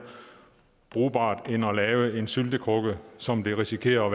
brugbart end at lave en syltekrukke som det risikerer at